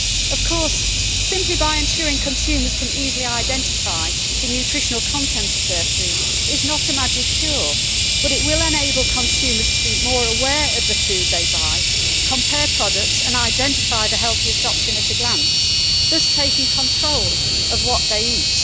Of course, simply ensuring consumers can easily identify the nutritional content of their food is not a magic cure, but it will enable consumers to be more aware of the food they buy, compare products and identify the healthiest option at a glance, thus taking control of what they eat.